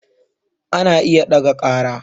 Ana iya ɗaga ƙara